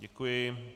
Děkuji.